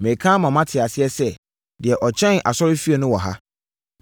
Mereka ama moate aseɛ sɛ, deɛ ɔkyɛn asɔrefie no wɔ ha!